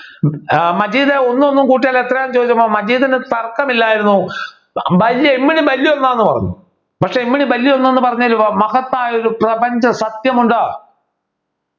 ആഹ് മജീദ് ഒന്നും കൂട്ടിയാൽ എത്രയാണെന്ന് ചോദിച്ചപ്പോൾ മജീദിനു തർക്കം ഇല്ലായിരുന്നു വല്യ ഇമ്മിണി വല്യ ഒന്നാന്ന് പറഞ്ഞു പക്ഷെ ഇമ്മിണി വല്യ ഒന്ന് ന്നു പറഞ്ഞതിന് മഹത്തായ ഒരു പ്രപഞ്ചസത്യം ഉണ്ട്